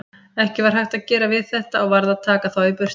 Ekki var hægt að gera við þetta og varð að taka þá burtu.